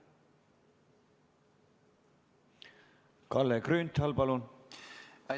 Kalle Grünthal, palun!